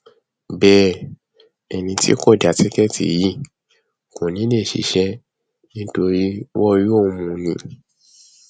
bẹẹ ẹni tí kò já tíkẹẹtì yìí kò ní í lè ṣiṣẹ nítorí wọn yóò mú un ni